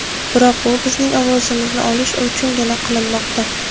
Biroq bu bizning ovozimizni olish uchungina qilinmoqda.